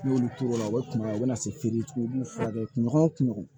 N'i y'olu turu o la u bɛ kunɲɔgɔn o bɛna se fere u b'u furakɛ kulon o kuɲɔgɔn